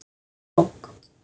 Lokuð bók.